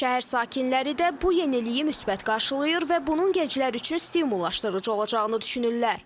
Şəhər sakinləri də bu yeniliyi müsbət qarşılayır və bunun gənclər üçün stimullaşdırıcı olacağını düşünürlər.